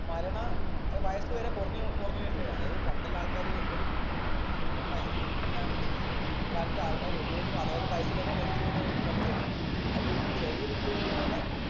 മരണ ഏർ വയസ് വരെ കൊറഞ്ഞ് കൊറഞ്ഞ് വെരുന്നെയാ അത് പണ്ടുള്ള ആൾക്കാര് എൺപതും ഏഴുപതും ഏർ തൊണ്ണൂറും വയസ്സില്ലെടുത്തുന്നാണെങ്കില് ഈ കാലത്തെ ആൾക്കാര് എഴുപതും അറുപതും വയസ്സിലൊക്കെ മരിച്ച് പോകുന്ന ഒരു ഘട്ടത്തിൽ എത്തുകയാണ് അതുപോലെ തന്നെ ചെറിയ കുട്ടികളിൽ വരെ